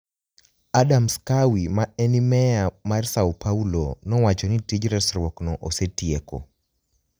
Adams Kawi, ma eni meya mar S�o Paulo, nowacho nii tij resruokno osetieko.